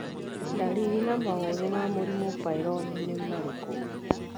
Ndariri na maũthĩ ma mũrimũ Peyronie nĩ marikũ?